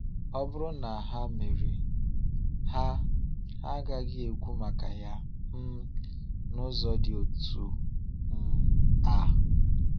Ọ bụrụ na ha mere, ha ha agaghị ekwu maka Ya um n’ụzọ dị otu um a.